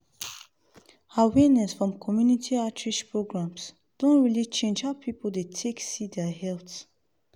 awareness from community outreach programs don really change how people dey take see their health.